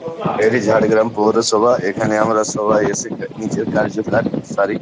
এটা ঝাড়গ্রাম পৌরসভা এখানে আমরা সবাই এসে নিজের কার্যকার সারি ।